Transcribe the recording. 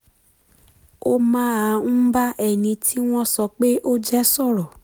ó máa ń bá ẹni tí wọ́n sọ pé ó jẹ́ sọ̀rọ̀